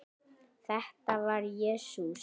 Þetta var Jesús